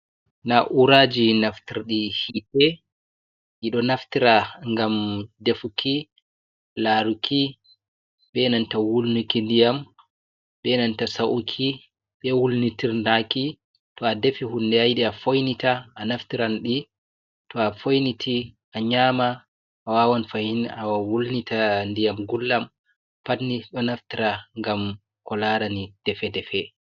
Na'uraaji naftirɗi yiite ɗi ɗo naftiro ngam defuki, laaruki, benanta wulniki ndiyam ,benanta sa'uki ,be wulnitirndaki. To a defi hunde a yiɗi a foynita a naftiran ɗi ,to a foyniti a nyaama ,a wawan fahin a wulnita ndiyam gulɗam pat ni ɗo naftira ngam ko laarani defe-defe.